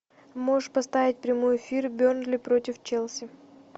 можешь поставить прямой эфир бернли против челси